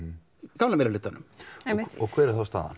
gamla meirihlutanum hver er þá staðan